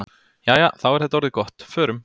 Jæja, þá er þetta orðið gott. Förum.